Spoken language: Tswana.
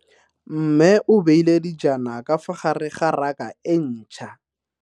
Mme o beile dijana ka fa gare ga raka e ntšha.